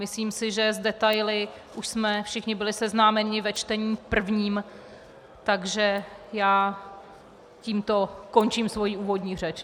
Myslím si, že s detaily už jsme všichni byli seznámeni ve čtení prvním, takže já tímto končím svoji úvodní řeč.